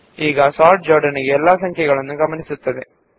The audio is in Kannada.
ಈಗ ಸೋರ್ಟ್ ಸಂಪೂರ್ಣ ಸಂಖ್ಯೆಯನ್ನು ಪರಿಗಣಿಸುತ್ತದೆ